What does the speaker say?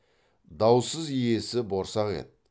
даусыз иесі борсақ еді